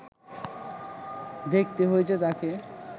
দেখতে হয়েছে তাঁকে